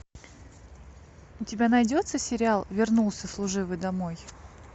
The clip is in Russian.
у тебя найдется сериал вернулся служивый домой